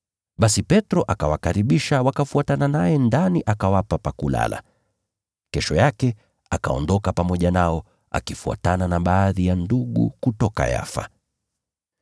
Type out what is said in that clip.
Basi Petro akawakaribisha wakafuatana naye ndani, akawapa pa kulala. Kesho yake akaondoka pamoja nao, na baadhi ya ndugu kutoka Yafa wakafuatana naye.